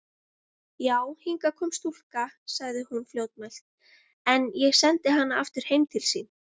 Já, hingað kom stúlka, sagði hún fljótmælt,-en ég sendi hana aftur heim til sín.